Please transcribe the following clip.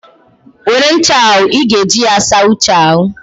Were ncha a, ị ga-eji ya saa Uche ahụ.